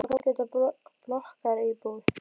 Mömmu tókst loks að kaupa sér ágæta blokkaríbúð í